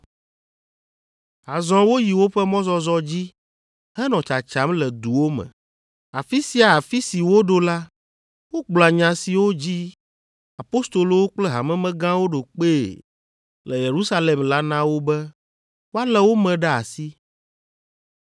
Azɔ woyi woƒe mɔzɔzɔ dzi henɔ tsatsam le duwo me. Afi sia afi si woɖo la, wogblɔa nya siwo dzi apostolowo kple hamemegãwo ɖo kpee le Yerusalem la na wo be woalé wo me ɖe asi.